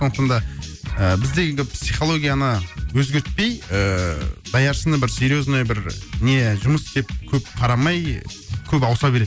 сондықтан да ыыы бізде енді психологияны өзгертпей ііі даяшыны бір серьезный бір не жұмыс деп көп қарамай көп ауыса береді